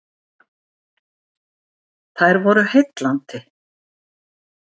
Þær voru heillandi.